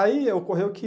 Aí ocorreu que...